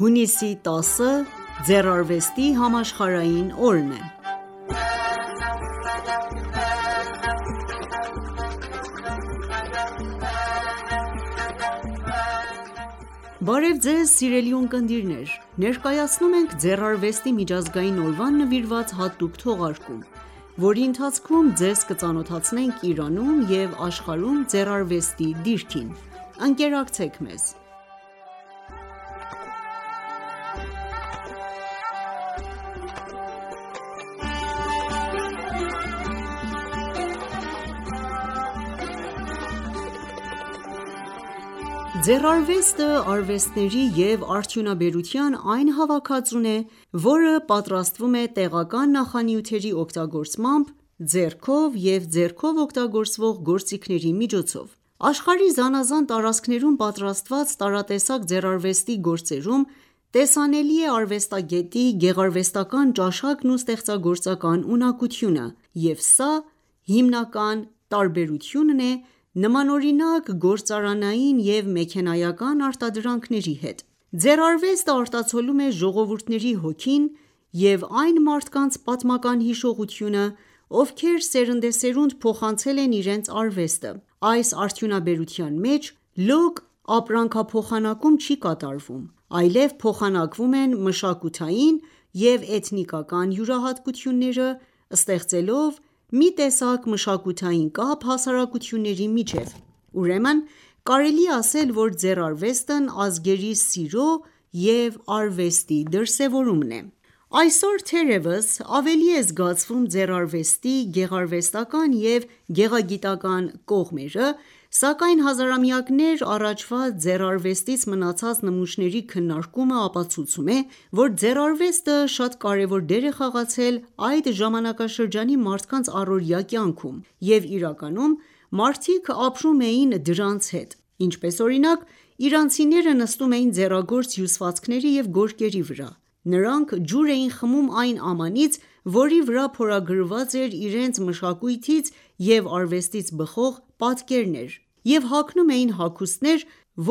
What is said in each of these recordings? Հունիսի 10-ը Ձեռարվեստի համաշխարհային օրն է Բարև Ձեզ սիրելի ունկնդիրներ: Ներկայացնում ենք Ձեռարվեստի միջազգային օրվան նվիրված հատուկ թողարկում, որի ընթացքում Ձեզ կծանոթացնենք Իրանում և աշխարհում ձեռարվեստի դիրքին։: Ընկերակցեք մեզ։ Ձեռարվեստը արվեստների և արդյունաբերության այն հավաքածուն է,որը պատրաստվում է, տեղական նախանյութերի օգտագործմամբ ,ձեռքով և ձեռքով օգտագործվող գործիքների միջոցով:Աշխարհի զանազան տարածքներում պատրաստված տարատեսակ ձեռարվեստի գործերում ,տեսանելի է արվեստագետի գեղարվեստական ճաշակն ու ստեղծագործական ունակությունը, և սա է հիմնական տարբերությունը՝ նմանօրինակ գործարանային և մեքենայական արտադրանքների հետ:Ձեռարվեստը, արտացոլում է ժողովուրդների հոգին և այն մարդկանց պատմական հիշողությունը, ովքեր սերնդեսերունդ փոխանցել են իրենց արվեստը:Այս արդյունաբերության մեջ լոկ ապրանքափոխանակում չի կատարվում, այլև փոխանակվում են մշակութային և էթնիկական յուրահատկությունները ՝ ստեղծելով մի տեսակ մշակութային կապ հասարակությունների միջև, ուրեմն կարելի է ասել, որ ձեռարվեստն ազգերի սիրո և արվեստի դրսևորում է: Այսօր, թերևս, ավելի է զգացվում ձեռարվեստի գեղարվեստական և գեղագիտական կողմերը ,սակայն հազարամյակներ առաջվա ձեռարվեստից մնացած նմուշների քննարկումը ապացուցում է ,որ ձեռարվեստը շատ կարևոր դեր է խաղացել այդ ժամանակաշրջանի մարդկանց առօրյա կյանքում, և իրականում մարդիկ ապրում էին դրանց հետ:Ինչպես օրինակ, իրանցիները նստում էին ձեռագործ հյուսվածքների և գորգերի վրա:Նրանք ջուր էին խմում այն ամանից ,որի վրա փորագրված էր իրենց մշակույթից և արվեստից բխող պատկերներ և հագնում էին հագուստներ,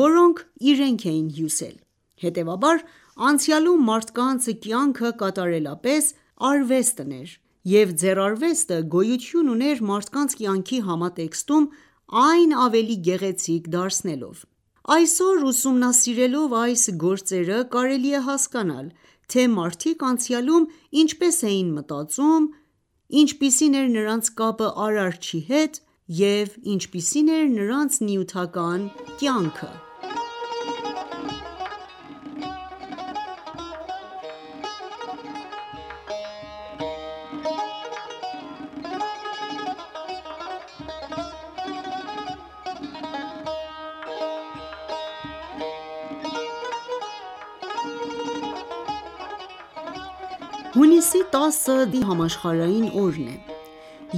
որոնք իրենք էին հյուսել: Հետևաբար անցյալում մարդկանց կյանքը կատարելապես արվեստն էր, և ձեռարվեստը գոյություն ուներ մարդկանց կյանքի համատեքստում ՝ այն ավելի գեղեցիկ դարձնելով:Այսօր, ուսումնասիրելով այս գործերը, կարելի է հասկանալ, թե մարդիկ անցյալում ինչպես էին մտածում ,ինչպիսին էր նրանց կապը Արարչի հետ և ինչպիսին էր նրանց նյութական կյանքը: Հունիսի 10-ը ձեռարվեստի համաշխարհային օրն է: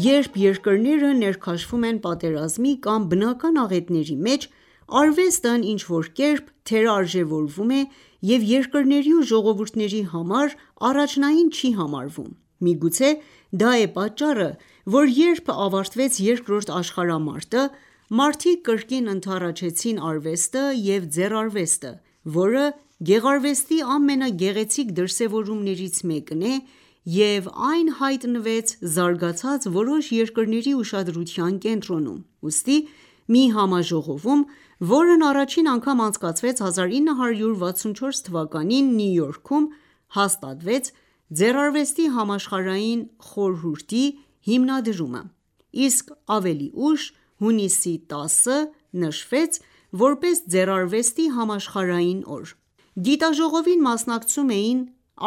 Երբ երկրները ներքաշվում են պատերազմի կամ բնական աղետների մեջ, արվեստն ինչ-որ կերպ թերարժևորվում է և երկրների ու ժողովուրդների համար առաջնային չի համարվում:Միգուցե դա է պատճառը, որ երբ ավարտվեց Երկրորդ աշխարհամարտը, մարդիկ կրկին ընդառաջեցին արվեստը և ձեռարվեստը ,որը գեղարվեստի ամենագեղեցիկ դրսևորումներից մեկն է և այն հայտնվեց զարգացած որոշ երկրների ուշադրության կենտրոնում:Ուստի մի համաժողովում, որն առաջին անգամ անցկացվեց 1964 թվականին Նյու Յորքում, հաստատվեց «Ձեռարվեստի համաշխարհային խորհուրդ»-ի հիմնադրումը, իսկ ավելի ուշ ՝ հունիսի 10-ը նշվեց ,որպես ձեռարվեստի համաշխարհային օր:Գիտաժողովին մասնակցում էին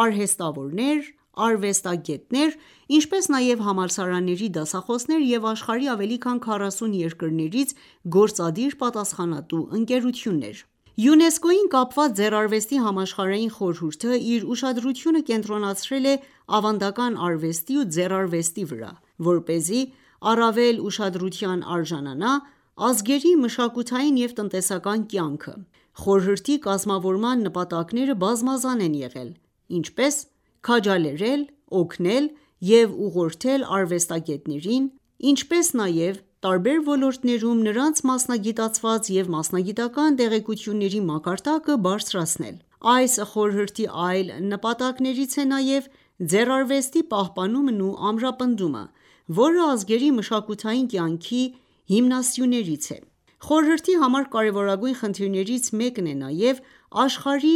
արհեստավորներ ,արվեստագետներ, ինչպես նաև համալսարանների դասախոսներ և աշխարհի ավելի քան 40 երկրներից գործադիր պատասխանատու ընկերություններ: ՅՈՒՆԵՍԿՕ-ին կապված Ձեռարվեստի համաշխարհային խորհուրդը, իր ուշադրությունը, կենտրոնացրել է ավանդական արվեստի ու ձեռարվեստի վրա, որպեսզի առավել ուշադրության արժանանա ՝ ազգերի մշակութային և տնտեսական կյանքը:Խորհրդի կազմավորման նպատակները բազմազան են եղել, ինչպես՝ քաջալերել, օգնել և ուղղորդել արվեստագետներին, ինչպես նաև տարբեր ոլորտներում նրանց մասնագիտացված և մասնագիտական տեղեկությունների մակարդակը բարձրացնել:Այս խորհրդի այլ նպատակներից է նաև՝ ձեռարվեստի պահպանումն ու ամրապնդումը, որը ազգերի մշակութային կյանքի հիմնասյուներից է:Խորհրդի համար կարևորագույն խնդիրներից մեկն է նաև՝ աշխարհի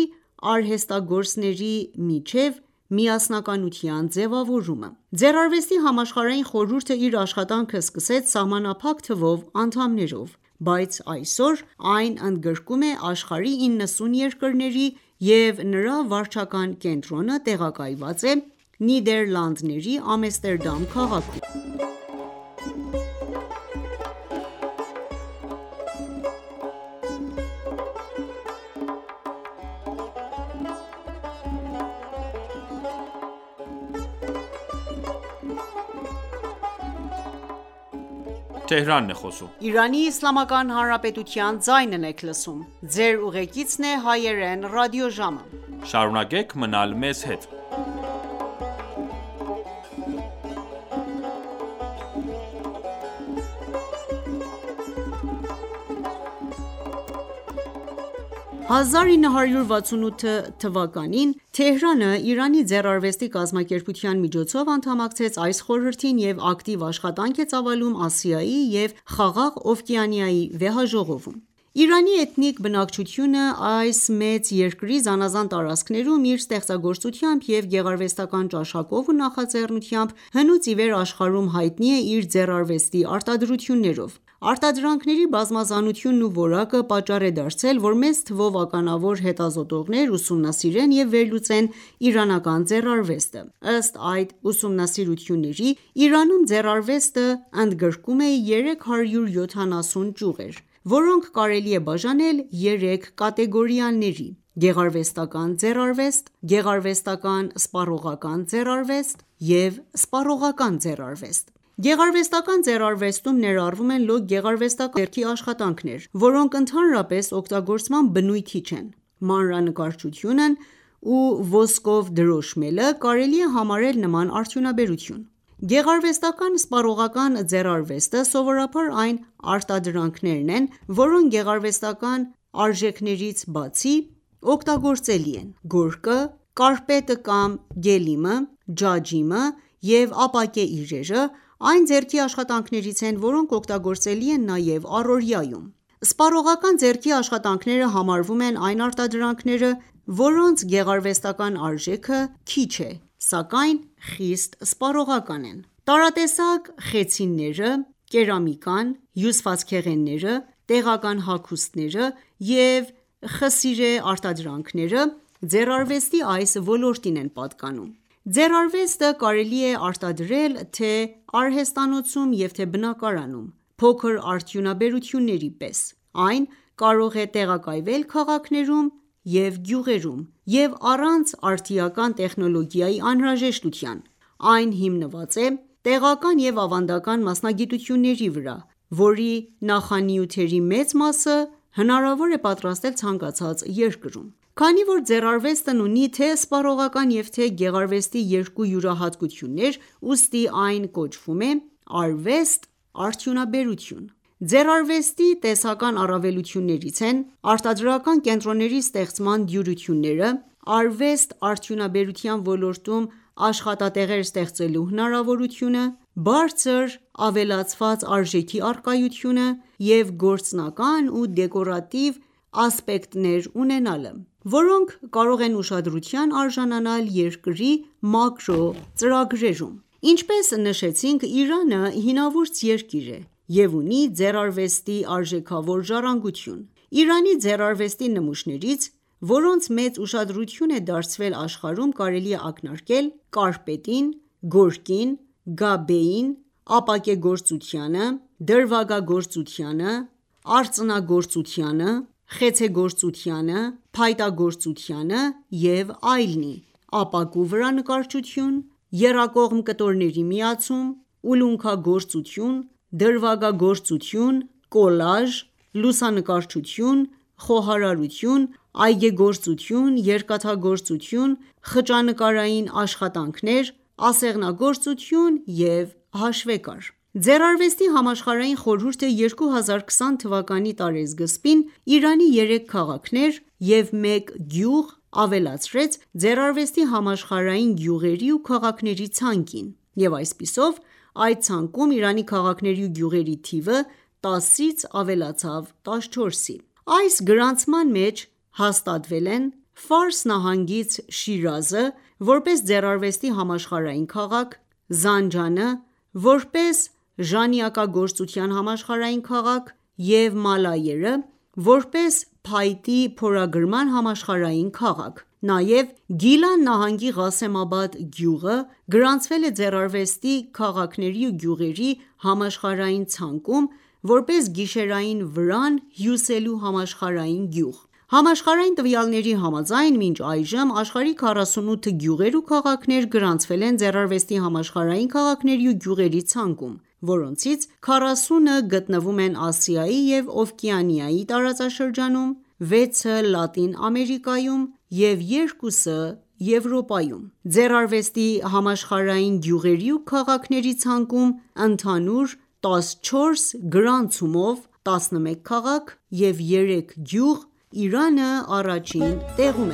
արհեստագործների միջև միասնականության ձևավորումը:Ձեռարվեստի համաշխարհային խորհուրդը իր աշխատանքը սկսեց սահմանափակ թվով անդամներով:Բայց այսօր այն ընդգրկում է աշխարհի 90 երկրների, և նրա վարչական կենտրոնը տեղակայված է Նիդեռլանդների Ամեստերդամ քաղաքում:1968 թվականին Թեհրանը «Իրանի ձեռարվեստի կազմակերպության» միջոցով անդամակցեց այս խորհրդին և ակտիվ աշխատանք է ծավալում Ասիայի և Խաղաղօվկիանիայի վեհաժողովում: Իրանի էթնիկ բնակչությունը ,այս մեծ երկրի զանազան տարածքներում իր ստեղծագործությամբ և գեղարվեստական ճաշակով ու նախաձեռնությամբ, հնուց իվեր աշխարհում հայտնի է իր ձեռարվեստի արտադրություններով: Արտադրանքների բազմազանությունն ու որակը պատճառ է դարձել, որ մեծ թվով ականավոր հետազոտողներ ուսումնասիրեն և վերլուծեն իրանական ձեռարվեստը:Ըստ այդ ուսումնասիրությունների ՝ Իրանում ձեռարվեստը ընդգրկում է 370 ճյուղեր, որոնք կարելի է բաժանել երեք կատեգորիաների՝գեղարվեստական ձեռարվեստ, գեղարվեստական-սպառողական ձեռարվեստ և սպառողական ձեռարվեստ: Գեղարվեստական ձեռարվեստում ներառվում են լոկ գեղարվեստական բնույթի ձեռքի աշխատանքներ, որոնք ընդհանրապես օգտագործման բնույթի չեն: Մանրանկարչությունն ու ոսկով դրոշմելը կարելի է համարել նման արդյունաբերություն: Գեղարվեստական-սպառողական ձեռարվեստը սովորաբար այն արտադրանքներն են, որոնք, գեղարվեստական արժեքներից բացի օգտագործելի են: Գորգը, կարպետը(գելիմը), ջաջիմը և ապակե իրերը այն ձեռքի աշխատանքներից են ,որոնք օգտագործելի են նաև առօրյաում: Սպառողական ձեռքի աշխատանքները համարվում են այն արտադրանքները, որոնց գեղարվեստական արժեքը քիչ է ,սակայն խիստ սպառողական են: Տարատեսակ խեցիները, կերամիկան, հյուսվածքեղենները ,տեղական հագուստները և խսիրե արտադրանքները ձեռարվեստի այդ ոլորտին են պատկանում: Ձեռարվեստը կարելի է արտադրել թե՝արհեստանոցում և թե՝բնակարանում, փոքր արդյունաբերությունների պես, այն կարող է տեղակայվել քաղաքներում և գյուղերում և առանց արդիական տեխնոլոգիայի անհրաժեշտության, այն հիմնված է տեղական և ավանդական մասնագիտությունների վրա, որի նախանյութերի մեծ մասը հնարավոր է պատրաստել ցանկացած երկրում:Քանի որ ձեռարվեստն ունի թե՝սպառողական և թե՝ գեղարվեստի երկու յուրահատկություններ, ուստի այն կոչվում է արվեստ-արդյունաբերություն:Ձեռարվեստի տնտեսական առավելություններից են՝արտադրական կենտրոնների ստեղծման դյուրյությունը, արվեստ-արդյունաբերության ոլորտում աշխատատեղեր ստեղծելու հնարավորությունը, բարձր ավելացված արժեքի առկայությունը և գործնական ու դեկորատիվ ասպեկտներ ունենալը, որոնք կարող են ուշադրության արժանանալ երկրների մակրո ծրագրերում: Ինչպես նշեցինք Իրանը հինավուրց երկրի է և ունի ձեռարվեստի արժեքավոր ժառանգություն :Իրանի ձեռարվեստի նմուշներից, որոնց մեծ ուշադրություն է դարձվել աշխարհում կարելի է ակնարկել ՝կարպետին, գորգին, Գաբեին, ապակեգործությանը, դրվագագործությանը, արծնագործությանը, խեցեգործությանը, փայտագործությանը և այլնի(ապակու վրա նկարչություն, եռակողմ կտորների միացում, ուլունքագործություն, դրվագագործություն, կոլաժ, լուսանկարչություն, խոհարարություն ,այգեգործություն, երկաթագործություն, խճանկարային աշխատանքներ, ասեղնագործություն և հաշվեկար ):Ձեռարվեստի համաշխարհային խորհուրդը ,2020թվականի տարեսկզբին Իրանի երեք քաղաքներ և մեկ գյուղ ավելացրեց ձեռարվեստի համաշխարհային գյուղերի ու քաղաքների ցանկին և այսպիսով, այդ ցանկում Իրանի քաղաքների ու գյուղերի թիվը 10-ից ավելացավ 14-ի :Այս գրանցման մեջ հաստատվել են՝ Ֆարս նահանգից Շիրազը ՝ որպես ձեռարվեստի համաշխարհային քաղաք, Զանջանը, որպես ժանյակագործության համաշխարհային քաղաք և Մալայերը ՝ որպես փայտի փորագրման համաշխարհային քաղաք:Նաև Գիլան նահանգի Ղասեմաբադ գյուղը գրանցվել է ձեռարվեստի քաղաքների ու գյուղերի համաշխարհային ցանկում, որպես գիշերային վրան հյուսելու համաշխարհային գյուղ:Համաշխարհային տվյալների համաձայն ,մինչ այժմ աշխարհի 48 գյուղեր ու քաղաքներ գրանցվել են ձեռարվեստի համաշխարհային քաղաքների ու գյուղերի ցանկում ,որոնցից 40-ը գտնվում են Ասիայի և Օվկիանիայի տարածաշրջանում ,6-ը Լատին ամերիկայում և 2-ը Եվրոպայում: Ձեռարվեստի համաշխարհային գյուղերի ու քաղաքների ցուցակում, ընդհանուր 14 գրանցումով(11 քաղաք և 3 գյուղ),Իրանը առաջին տեղում